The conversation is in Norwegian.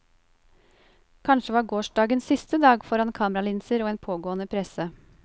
Kanskje var gårsdagen siste dag foran kameralinser og en pågående presse.